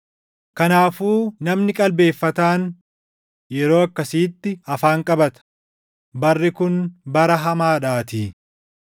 Kanaafuu namni qalbeeffataan yeroo akkasiitti afaan qabata; barri kun bara hamaadhaatii.